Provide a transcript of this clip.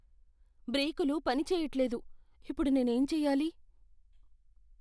బ్రేకులు పనిచేయట్లేదు. ఇప్పుడు నేనేం చేయాలి?